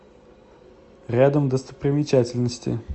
рядом достопримечательности